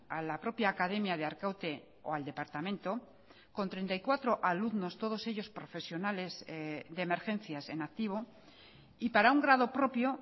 a la propia academia de arkaute o al departamento con treinta y cuatro alumnos todos ellos profesionales de emergencias en activo y para un grado propio